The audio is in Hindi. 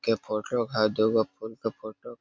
के फोटो का दू गो फुल का फोटो --